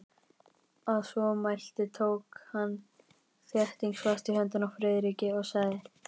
Að svo mæltu tók hann þéttingsfast í hönd Friðriki og sagði: Velkominn